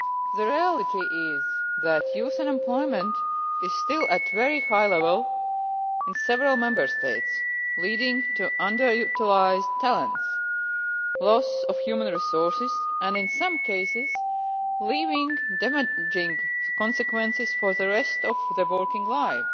The reality is that youth unemployment is still at a very high level in several Member States, leading to underutilised talents, the loss of human resources and, in some cases, leaving damaging consequences for the rest of the working life.